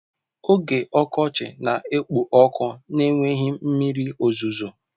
Oge ọkọchị na-ekpo ọkụ na-enweghị mmiri ozuzo.